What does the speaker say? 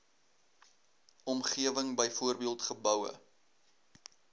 omgewing byvoorbeeld geboue